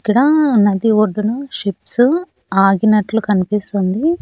ఇక్కడా నది ఒడ్డున షిప్స్ ఆగినట్లు కనిపిస్తోంది.